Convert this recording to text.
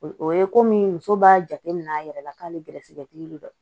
O ye komi muso b'a jateminɛ a yɛrɛ la k'ale gɛrɛsɛgɛtigi de don